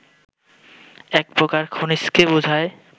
এক প্রকার খনিজকে বুঝায়